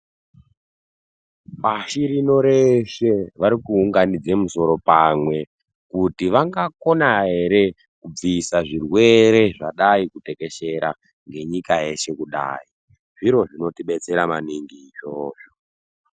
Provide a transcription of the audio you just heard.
Pashi rino reshe vari ku unganidza musoro pamwe kuti vanga kona ere ku bvisa zvirwere zvadaiku tekeshera nge nyika yese kudai zviro zvinoti detsera maningi izvozvo.